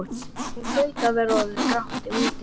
Nú hlaut að vera orðið grátt úti.